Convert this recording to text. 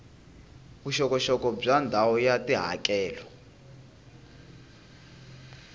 vuxokoxoko bya ndhawu ya tihakelo